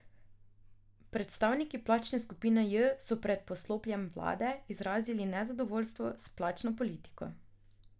Predstavniki plačne skupine J so pred poslopjem vlade izrazili nezadovoljstvo s plačno politiko.